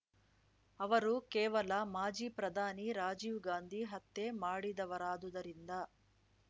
ಅವರು ಕೇವಲ ಮಾಜಿ ಪ್ರಧಾನಿ ರಾಜೀವ್‌ ಗಾಂಧಿ ಹತ್ಯೆ ಮಾಡಿದವರಾದುದರಿಂದ